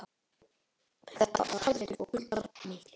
Þetta var harður vetur og kuldar miklir.